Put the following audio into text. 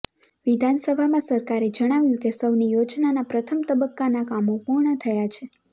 વિધાનસભામાં સરકારે જણાવ્યું કે સૌની યોજનાના પ્રથમ તબક્કાના કામો પૂર્ણ થયા છે